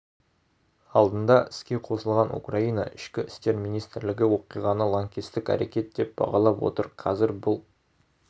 алдында іске қосылған украина ішкі істер министрлігі оқиғаны лаңкестік әрекет деп бағалап отыр қазір бұл